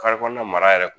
Kare kɔnɔna mara yɛrɛ